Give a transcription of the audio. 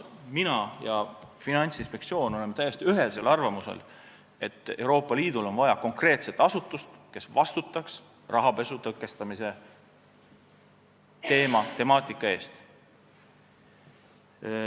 Mina ja Finantsinspektsioon oleme täiesti ühesel arvamusel, et Euroopa Liidul on vaja konkreetset asutust, kes vastutaks rahapesu tõkestamise teema eest.